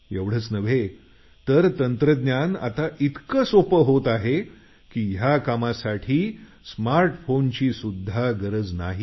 एवढंच नाही तर तंत्रज्ञान इतकं सोपं होत आहे की या कामासाठी स्मार्ट फोनची सुध्दा गरज नाही